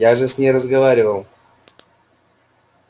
я же с ней разговаривал